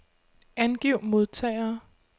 Angiv modtagere.